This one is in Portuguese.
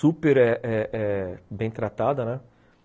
super eh eh eh bem tratada, né?